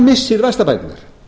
missir vaxtabæturnar